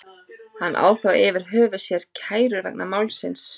Hann á þó yfir höfði sér kærur vegna málsins.